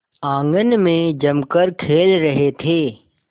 आंगन में जमकर खेल रहे थे